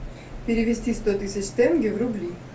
перевести сто тысяч тенге в рубли